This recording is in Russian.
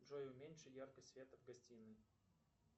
джой уменьши яркость света в гостиной